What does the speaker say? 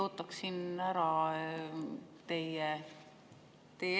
Jaa, aitäh!